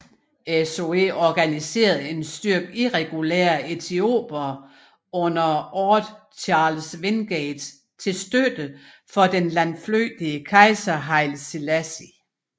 SOE organiserede en styrke irregulære etiopere under Orde Charles Wingate til støtte for den landflygtige kejser Haile Selassie